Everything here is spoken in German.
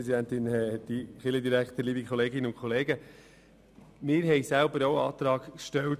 Wir haben selber auch einen Antrag zu Artikel 10 gestellt.